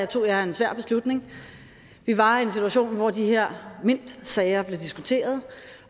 tog jeg en svær beslutning vi var i en situation hvor de her mintsager blev diskuteret